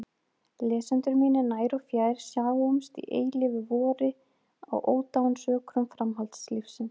Lesendur mínir nær og fjær, sjáumst í eilífu vori á ódáinsökrum framhaldslífsins!